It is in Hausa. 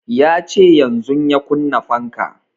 Ya ce yanzun ya kunna fanka